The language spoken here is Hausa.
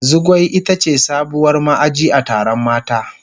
Zugwai ita ce sabuwar ma'aji a taron mata.